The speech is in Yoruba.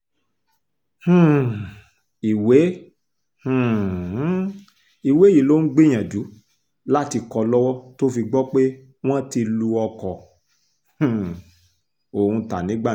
um ìwé um ìwé yìí ló ń gbìyànjú láti kọ́ lọ́wọ́ tó fi gbọ́ pé wọ́n ti lu ọkọ um òun ta ní gbàǹjo